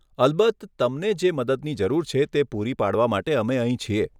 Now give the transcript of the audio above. અલબત્ત! તમને જે મદદની જરૂર છે તે પૂરી પાડવા માટે અમે અહીં છીએ.